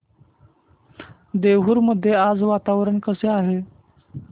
देऊर मध्ये आज वातावरण कसे आहे